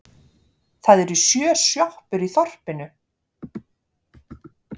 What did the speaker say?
Það eru sjö sjoppur í þorpinu!